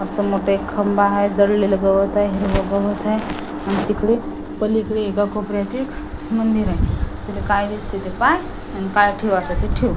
अस मोठा एक खंबा हाय जळलेले गवत हाय हिरवे गवत हाय आणि तिकडे पलीकडे एका कोपऱ्यात एक मंदिर हाय तिकडे काय दिसतंय ते पहा आणि पाय ठेवायचा तर ठेव.